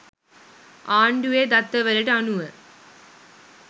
ආණ්ඩුවේ දත්තවලට අනුව